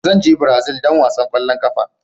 Zan je Brazil don wasan kwallon kafa.